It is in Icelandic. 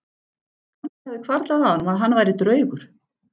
Kannski hafi hvarflað að honum að hann væri draugur?